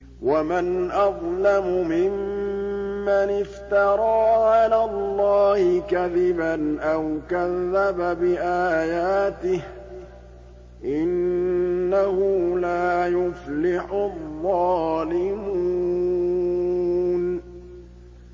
وَمَنْ أَظْلَمُ مِمَّنِ افْتَرَىٰ عَلَى اللَّهِ كَذِبًا أَوْ كَذَّبَ بِآيَاتِهِ ۗ إِنَّهُ لَا يُفْلِحُ الظَّالِمُونَ